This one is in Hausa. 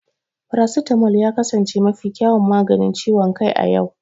Paracetamol ya kasance mafi kyawun maganin ciwon kai a yau.